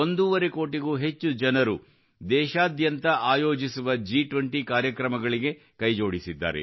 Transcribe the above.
5 ಕೋಟಿಗೂ ಹೆಚ್ಚು ಜನರು ದೇಶಾದ್ಯಂತ ಆಯೋಜಿಸುವ G20 ರ ಕಾರ್ಯಕ್ರಮಗಳಿಗೆ ಕೈಜೋಡಿಸಿದ್ದಾರೆ